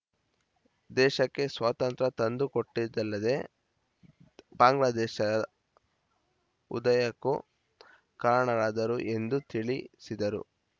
ದೇಶಕ್ಕೆ ಸ್ವಾತಂತ್ರ್ಯ ತಂದುಕೊಟ್ಟಿದ್ದಲ್ಲದೇ ಬಾಂಗ್ಲಾದೇಶ ಉದಯಕ್ಕೂ ಕಾರಣರಾದರು ಎಂದು ತಿಳಿಸಿದರು